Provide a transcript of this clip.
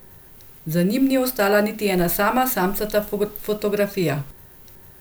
Za njim ni ostala niti ena sama samcata fotografija.